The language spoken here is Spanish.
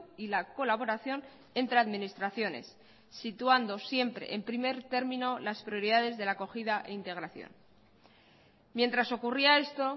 y la colaboración entre administraciones situando siempre en primer término las prioridades de la acogida e integración mientras ocurría esto